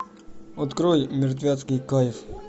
открой мертвецкий кайф